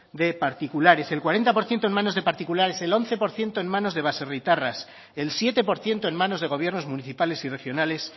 de particulares el cuarenta por ciento en menos de particulares el once por ciento en manos de baserritarras el siete por ciento en manos de gobiernos municipales y regionales